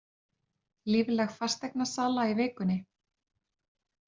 Lífleg fasteignasala í vikunni